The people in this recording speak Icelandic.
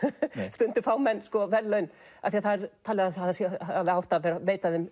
stundum fá menn verðlaun því það er talið að það hefði átt að veita þeim